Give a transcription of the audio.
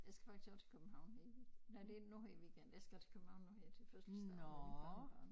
Jeg skal faktisk også til København her i nej det er nu her i weekend jeg skal til København nu her til fødselsdag med mit barnebarn